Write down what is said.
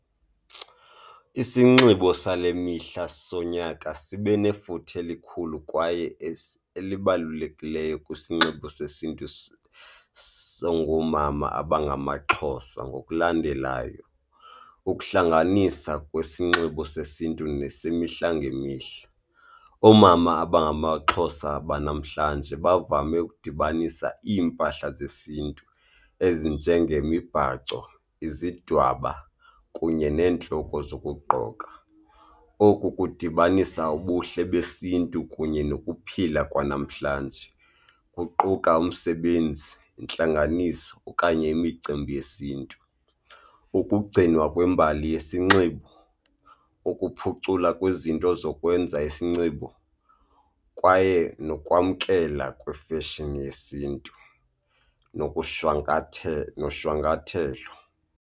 Isinxibo sale mihla sonyaka sibe nefuthe elikhulu kwaye elibalulekileyo kwisinxibo sesiNtu songoomama abangamaXhosa ngokulandelayo, ukuhlanganisa kwesinxibo sesiNtu nesemihla ngemihla. Oomama abangamaXhosa banamhlanje bavame ukudibanisa iimpahla zesiNtu ezinjengemibhaco, izidwaba kunye neentloko zokugqoka. Oku kudibanisa ubuhle besiNtu kunye nokuphila kwanamhlanje, kuquka umsebenzi, intlanganiso okanye imicimbi yesiNtu. Ukugcinwa kwembali yesinxibo, ukuphucula kwizinto zokwenza isinxibo kwaye nokwamkela kwifeshini yesiNtu nokushwankathela, noshwankathelo.